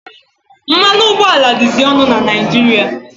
Mmanụ ụgbọala dịzị ọnụ na Naijiria.